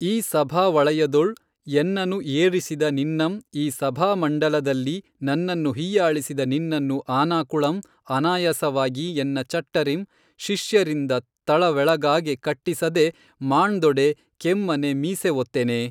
ಈ ಸಭಾವಳಯದೊಳ್ ಎನ್ನನು ಏೞಿಸಿದ ನಿನ್ನಂ ಈ ಸಭಾಮಂಡಲದಲ್ಲಿ ನನ್ನನ್ನು ಹಿಯ್ಯಾಳಿಸಿದ ನಿನ್ನನ್ನು ಆನಾಕುಳಂ ಅನಾಯಾಸವಾಗಿ ಎನ್ನ ಚಟ್ಟರಿಂ ಶಿಷ್ಯರಿಂದ ತಳವೆಳಗಾಗೆ ಕಟ್ಟಿಸದೆ ಮಾಣ್ದೊಡೆ ಕೆಮ್ಮನೆ ಮೀಸೆವೊತ್ತೆನೇ!